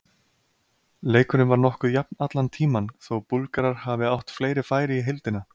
Leikurinn var nokkuð jafn allan tímann, þó Búlgarar hafi átt fleiri færi í heildina.